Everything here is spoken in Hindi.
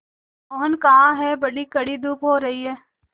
मोहन कहाँ हैं बड़ी कड़ी धूप हो रही है